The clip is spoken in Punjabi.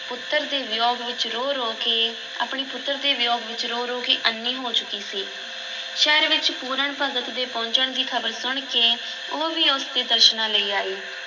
ਪੁੱਤਰ ਦੇ ਵਿਯੋਗ ਵਿੱਚ ਰੋ-ਰੋ ਕੇ, ਆਪਣੇ ਪੁੱਤਰ ਦੇ ਵਿਯੋਗ ਵਿੱਚ ਰੋ-ਰੋ ਕੇ ਅੰਨ੍ਹੀ ਹੋ ਚੁੱਕੀ ਸੀ, ਸ਼ਹਿਰ ਵਿੱਚ ਪੂਰਨ ਭਗਤ ਦੇ ਪਹੁੰਚਣ ਦੀ ਖ਼ਬਰ ਸੁਣ ਕੇ ਉਹ ਵੀ ਉਸ ਦੇ ਦਰਸ਼ਨਾਂ ਲਈ ਆਈ।